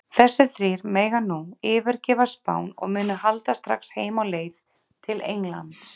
Þessir þrír mega nú yfirgefa Spán og munu halda strax heim á leið til Englands.